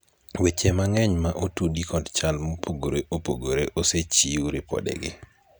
weche mang'eny ma otudi kod chal mopogore opogore osechiw ripodegi